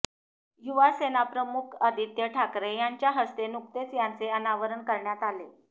युवासेना प्रमुख आदित्य ठाकरे यांच्या हस्ते नुकतेच त्याचे अनावरण करण्यात आले